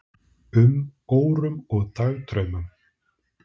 um, órum og dagdraumum.